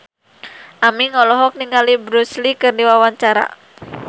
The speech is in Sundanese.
Aming olohok ningali Bruce Lee keur diwawancara